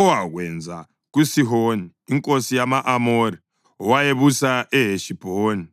owakwenza kuSihoni inkosi yama-Amori, owayebusa eHeshibhoni.”